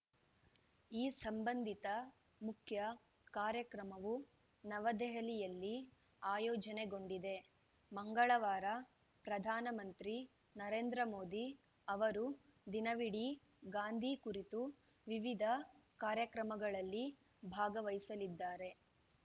ಈ ಸಂಬಂಧಿತ ಮುಖ್ಯಕಾರ್ಯಕ್ರಮವ ನವದೆಹಲಿಯಲ್ಲಿ ಆಯೋಜನೆಗೊಂಡಿದೆ ಮಂಗಳವಾರ ಪ್ರಧಾನ ಮಂತ್ರಿ ನರೇಂದ್ರ ಮೋದಿ ಅವರು ದಿನವಿಡೀ ಗಾಂಧೀ ಕುರಿತ ವಿವಿಧ ಕಾರ್ಯಕ್ರಮಗಳಲ್ಲಿ ಭಾಗವಹಿಸಲಿದ್ದಾರೆ